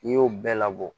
N'i y'o bɛɛ labɔ